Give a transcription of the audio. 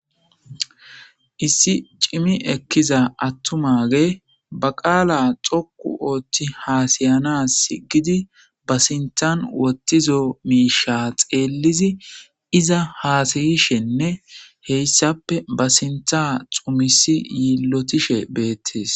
Issi cimi ekkiza aththumaagee ba qaalaa xoqqu ooththi haasa7anaassi ba sinththan woththizo miishshaa xeellidi iza haasayishenne heyssappe be sinththaa yiillothishe beeththees.